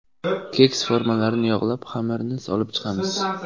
Keks formalarini yog‘lab, xamirni solib chiqamiz.